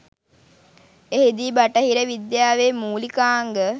එහිදී බටහිර විද්‍යාවේ මූලිකාංග